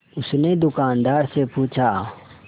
उसने दुकानदार से पूछा